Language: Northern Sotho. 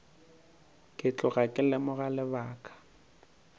ke tloga ke lemoga lebaka